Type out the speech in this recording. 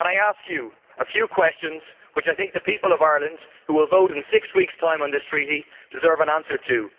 I would like to ask you a few questions which I think the people of Ireland, who will vote in six weeks' time on this Treaty, deserve an answer to.